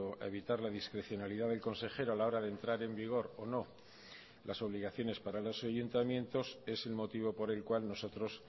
a evitar la discrecionalidad del consejero a la hora de entrar en vigor o no las obligaciones para los ayuntamientos es el motivo por el cual nosotros